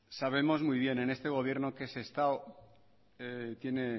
sabemos muy bien en este gobierno que sestao tiene